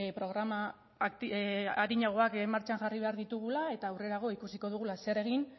programa arinagoak martxan jarri behar ditugula eta aurrerago ikusiko dugu zer egin